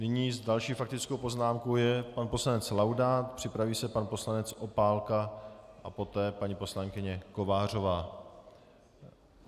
Nyní s další faktickou poznámkou je pan poslanec Laudát, připraví se pan poslanec Opálka a poté paní poslankyně Kovářová.